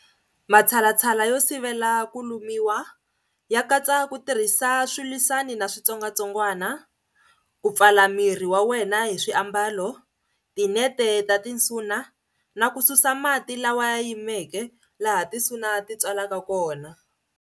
Matshalatshala yo sivela ku lumiwa ya katsa ku tirhisa swilwisani na switsongwatsongwani, ku pfala miri wa wena hi swiambalo, tinete ta tinsuna, na ku susa mati lawa ya yimeke laha tinsuna titswalaka kona.